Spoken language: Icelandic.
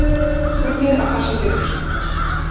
Unnið að farsælli lausn